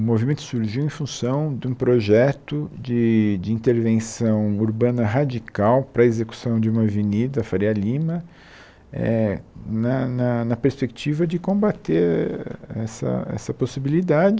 O movimento surgiu em função de um projeto de de intervenção urbana radical para a execução de uma avenida, Faria Lima, eh na na na perspectiva de combater essa essa possibilidade